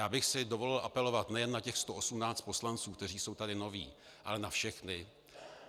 Já bych si dovolil apelovat nejen na těch 118 poslanců, kteří jsou tady noví, ale na všechny.